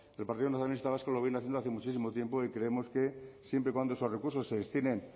el partido nacionalista vasco lo viene haciendo hace muchísimo tiempo y creemos que siempre y cuando esos recursos se destinen